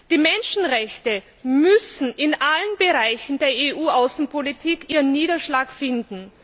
Die Menschenrechte müssen in allen Bereichen der EU Außenpolitik ihren Niederschlag finden.